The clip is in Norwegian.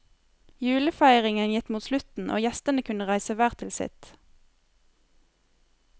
Julefeiringen gikk mot slutten, og gjestene kunne reise hver til sitt.